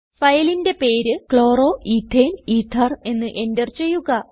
ഫയലിന്റെ പേര് chloroethane ether എന്ന് എന്റർ ചെയ്യുക